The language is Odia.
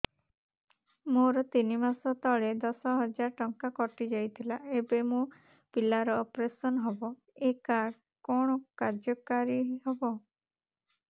ମୋର ତିନି ମାସ ତଳେ ଦଶ ହଜାର ଟଙ୍କା କଟି ଯାଇଥିଲା ଏବେ ମୋ ପିଲା ର ଅପେରସନ ହବ ଏ କାର୍ଡ କଣ କାର୍ଯ୍ୟ କାରି ହବ